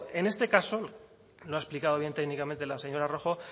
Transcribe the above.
en este caso lo ha explicado bien técnicamente la señora rojo